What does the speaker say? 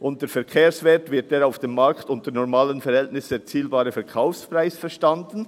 Unter Verkehrswert wird der auf dem Markt unter normalen Verhältnissen erzielbare Verkaufspreis verstanden.